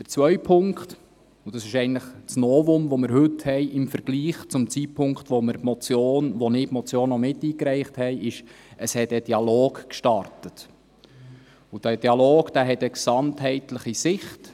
Zum anderen – und das ist das Novum, das wir heute im Vergleich zum Zeitpunkt haben, als ich die Motion miteingereicht habe – wurde ein Dialog gestartet, und dieser Dialog hat eine gesamtheitliche Sicht.